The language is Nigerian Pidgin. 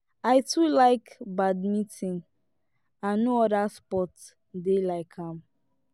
i too like badminton and no other sport dey like am